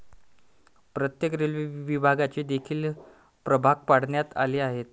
प्रत्येक रेल्वे विभागाचे देखील प्रभाग पाडण्यात आले आहेत.